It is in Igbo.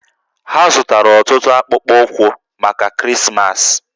Ha zụtara ọtụtụ akpụkpọ ụkwụ maka Krismas